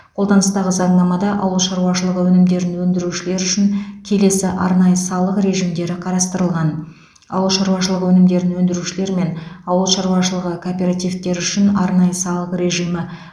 қолданыстағы заңнамада ауыл шаруашылығы өнімдерін өндірушілер үшін келесі арнайы салық режимдері қарастырылған ауыл шаруашылығы өнімдерін өндірушілер мен ауыл шаруашылығы кооперативтері үшін арнайы салық режимі